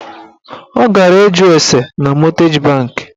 Ọ gara ịjụ ase na mọtgeji bankị